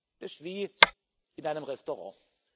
Das ist wie in einem Restaurant.